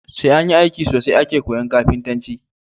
Sai anyi aiki sosai ake koyan kafintanci